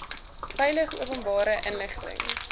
veilig openbare inligting